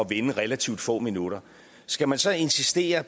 vinde relativt få minutter skal man så insistere